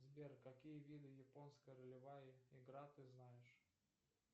сбер какие виды японская ролевая игра ты знаешь